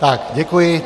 Tak, děkuji.